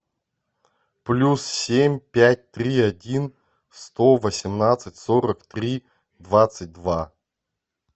плюс семь пять три один сто восемнадцать сорок три двадцать два